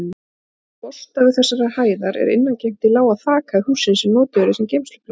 Úr forstofu þessarar hæðar er innangengt í lága þakhæð hússins, sem notuð yrði sem geymslupláss.